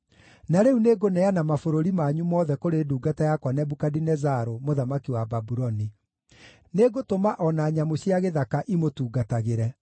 Na rĩu nĩngũneana mabũrũri manyu mothe kũrĩ ndungata yakwa Nebukadinezaru, mũthamaki wa Babuloni; nĩngũtũma o na nyamũ cia gĩthaka imũtungatagĩre.